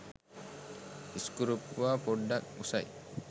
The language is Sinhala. ඉස්කුරුප්පුවා පොඩ්ඩක් උසයි